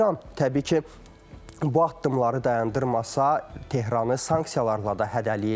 İran, təbii ki, bu addımları dayandırmasa, Tehranı sanksiyalarla da hədələyirlər.